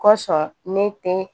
Kosɔn ne te